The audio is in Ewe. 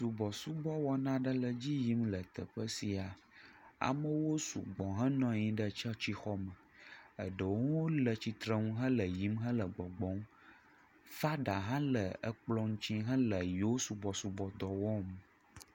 Subɔsubɔ wɔna aɖe le dzi yim le teƒe sia. Amewo sugbɔ henɔ anyi ɖe tsɔtsixɔme, eɖewo le tsitrenu hele yiyim hele gbɔgbɔm. Fada hã le ekplɔ ŋuti hele yeo subɔsubɔ dɔ wɔm.